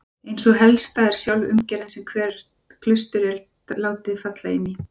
Ein sú helsta er sjálf umgerðin sem hvert klaustur er látið falla inní.